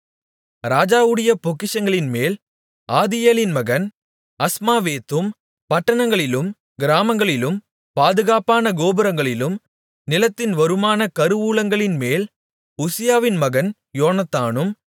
ராஜாவுடைய பொக்கிஷங்களின்மேல் ஆதியேலின் மகன் அஸ்மாவேத்தும் பட்டணங்களிலும் கிராமங்களிலும் பாதுகாப்பான கோபுரங்களிலும் நிலத்தின் வருமான கருவூலங்களின்மேல் உசியாவின் மகன் யோனத்தானும்